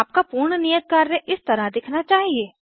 आपका पूर्ण नियत कार्य इस तरह दिखना चाहिए